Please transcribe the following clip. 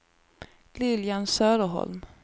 Lilian Söderholm